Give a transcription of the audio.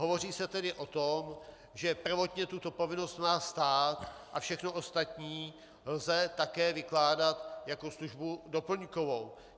Hovoří se tedy o tom, že prvotně tuto povinnost má stát, a všechno ostatní lze také vykládat jako službu doplňkovou.